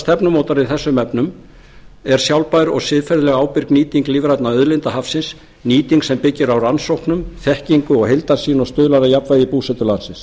stefnumótunar í þessum efnum er sjálfbær og siðferðilega ábyrg nýting lífrænna auðlinda hafsins nýting sem byggir á rannsóknum þekkingu og heildarsýn og stuðlar að jafnvægi í búsetu landsins